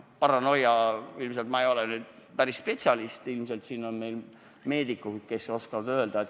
Paranoia – ma ei ole ju spetsialist ja ilmselt siin on meedikuid, kes oskaksid paremini kommenteerida.